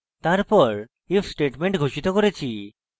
তারপর if statement ঘোষিত করেছি